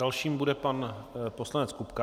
Další bude pan poslanec Kupka.